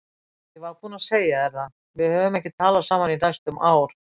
Ég var búinn að segja þér það, við höfum ekki talað saman í næstum ár.